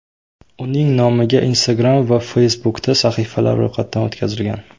Uning nomiga Instagram va Facebook’da sahifalar ro‘yxatdan o‘tkazilgan.